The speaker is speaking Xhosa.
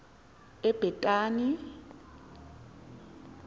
ebhetani